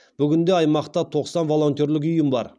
бүгінде аймақта тоқсан волонтерлік ұйым бар